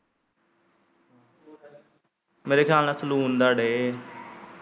ਮੇਰੇ ਖਿਆਲ ਨਾਲ ਸਲੂਨ ਦਾ ਡੇ।